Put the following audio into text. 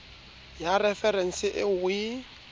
ya referense eo o e